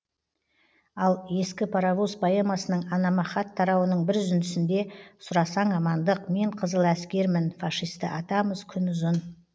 ал ескі паровоз поэмасының анама хат тарауының бір үзіндісінде сұрасаң амандық мен қызыл әскермін фашисті атамыз күн ұзын